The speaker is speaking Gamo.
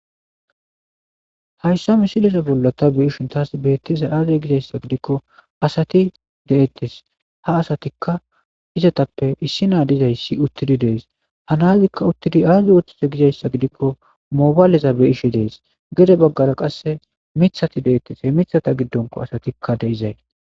Haysa mileza bolla ta be'ishn tas betizay aze gizaysa gidikon asati detes ha asatassina dizays utid de'es. Nazika utid azi oothize gizaysa gidikon mobayleza beyishe de'es gede bagara qase mithaika de'es he mithaza gidonko asat de'izay